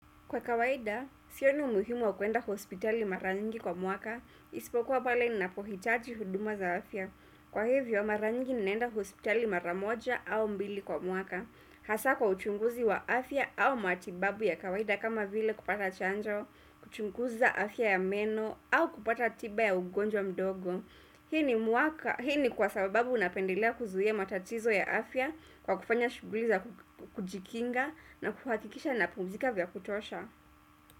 Kwa kawaida, sioni umuhimu wa kuenda hospitali mara nyingi kwa mwaka, ispokuwa pale ninapohitaji huduma za afya. Kwa hivyo mara nyingi ninaenda hospitali mara moja au mbili kwa mwaka. Hasa kwa uchunguzi wa afya au matibabu ya kawaida kama vile kupata chanjo, kuchunguza afya ya meno, au kupata tiba ya ugonjwa mdogo hii ni mwaka. Hii ni kwa sababu unapendelea kuzuia matatizo ya afya kwa kufanya shughuli za kujikinga na kuhakikisha napumzika vya kutosha.